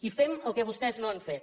i fem el que vostès no han fet